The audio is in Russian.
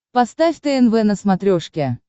поставь тнв на смотрешке